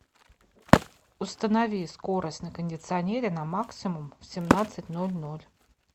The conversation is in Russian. установи скорость на кондиционере на максимум в семнадцать ноль ноль